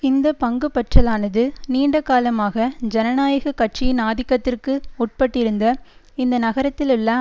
இந்த பங்குபற்றலானது நீண்ட காலமாக ஜனநாயக கட்சியின் ஆதிக்கத்திற்கு உட்பட்டிருந்த இந்த நகரத்திலுள்ள